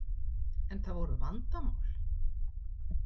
En það voru vandamál?